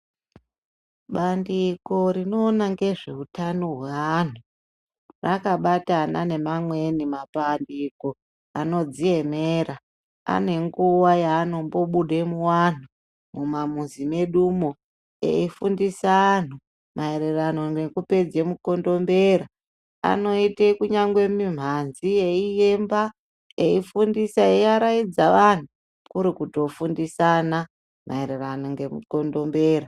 Bandiko rinoona nezve utano hweantu rakabatana neamweni mapandiko anodziemera, anenguwa yaanombobuda muanhu mumamuzi mwedumwo, eifundisa anhu maererano nekupedze mukondombera, anoite kunyangwe mimhanzi yeiyemba eiaradza anhu kurikuto fundisana maererano nemukondombera.